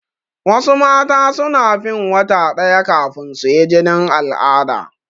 Wasu mata suna fin wata ɗaya kafin suyi jinin al'ada.